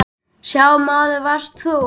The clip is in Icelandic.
Sá maður varst þú.